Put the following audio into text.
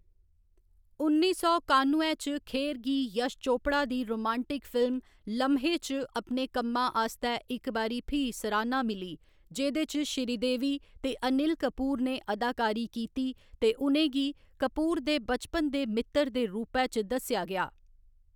उन्नी सौ कानुए च खेर गी यश चोपड़ा दी रोमांटक फिल्म लम्हे च अपने कम्मा आस्तै इक बारी फ्ही सराह्‌ना मिली, जेह्‌‌‌दे च श्रीदेवी ते अनिल कपूर ने अदाकारी कीती ते उ'नें गी कपूर दे बचपन दे मित्तर दे रूपा च दस्सेआ गेआ।